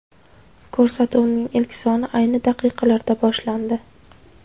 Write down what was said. Ko‘rsatuvning ilk soni ayni daqiqalarda boshlandi.